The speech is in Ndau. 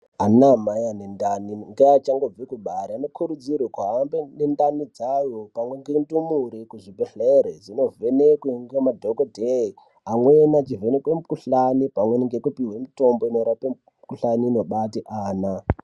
Anamai anendani ngeachangobve kubara anokurudzirwe kuhambe nendani dzayo pamwe ngendumure kuzvibhedhlere, dzinovhekwe ngemadhogodhee. Amweni achivhenekwe mikuhlani pamweni ngekupihwe mitombo inorape mikuhlani inobate ana.